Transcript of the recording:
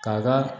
K'a ka